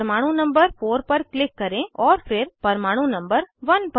परमाणु नंबर 4 पर क्लिक करें और फिर परमाणु नंबर 1 पर